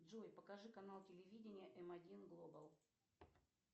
джой покажи канал телевидения м один глобал